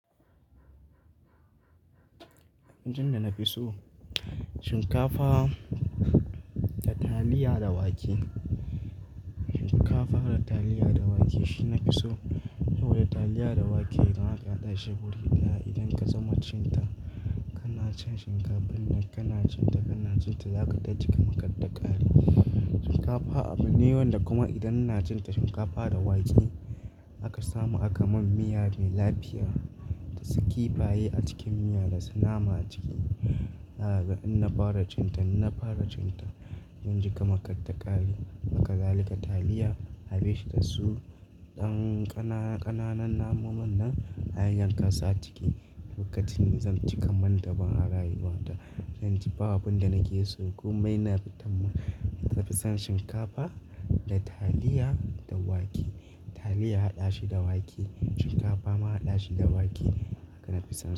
Abin da na fi so shinkafa da taliya da wake. Shinkafa da taliya da wake shi na fi so. Saboda taliya da wake in aka hada shi wuri. Da idan ka zama cin ta, kana cin shinkafa ne. Kana cin ta, kana cin ta za ka taji kamar kattakaare. Shinkafa abu ne wanda kuma idan ina cin ta shinkafa da wake aka samu, aka mun miya mai lafiya da su kifaye a cikin miya da su nama a ciki. Za kaga In na fara cin ta, in na fara cin ta zan ji kamattakaari. Hakazali ka taliya, abi shi da su ɗan ƙananan namomin nan a hanyar ƙasa ciki. Lokacin da zan jika man da ban a rayuwa ta, zan ji babu abin da nake so. Komai na fi tan min na fi son shinkafa da taliya da wake. Taliya a hada shi da wake, shinkafa ma a hada shi da wake haka na fi son su.